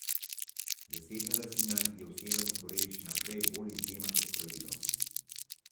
Zasebna lastnina je v Severni Koreji še naprej bolj izjema kot pravilo.